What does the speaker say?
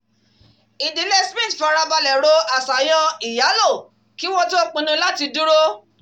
ìdílé smith farabalẹ̀ ro àṣàyàn ìyálò kí wọ́n tó pinnu láti dúró